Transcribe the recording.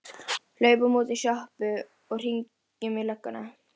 Stýrið var úr tré, vel viðað og allþungt.